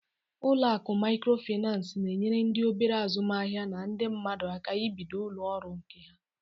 Ụlọ akụ Maịkrofịnansị na-enyere ndị obere azụmaahịa na ndị mmadụ aka ibido ụlọ ọrụ nke ha.